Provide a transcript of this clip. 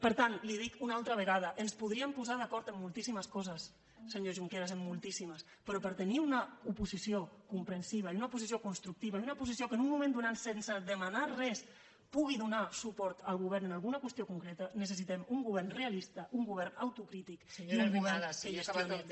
per tant li ho dic una altra vegada ens podríem posar d’acord en moltíssimes coses senyor junqueras en moltíssimes però per tenir una oposició comprensiva i una oposició constructiva i una oposició que en un moment donat sense demanar res pugui donar suport al govern en alguna qüestió concreta necessitem un govern realista un govern autocrític i un govern que gestioni